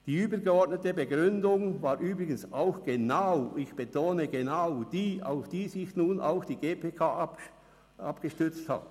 Die übergeordnete Begründung war übrigens auch genau – ich betone: genau – dieselbe, auf die sich nun auch die GPK gestützt hat: